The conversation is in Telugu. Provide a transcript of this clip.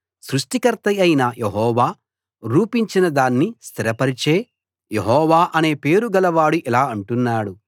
సృష్టికర్త అయిన యెహోవా రూపించిన దాన్ని స్థిరపరిచే యెహోవా యెహోవా అనే పేరు గలవాడు ఇలా అంటున్నాడు